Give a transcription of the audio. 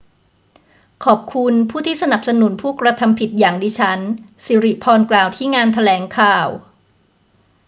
ขอบคุณผู้ที่สนับสนุนผู้กระทำผิดอย่างดิฉัน ศิริพรกล่าวที่งานแถลงข่าว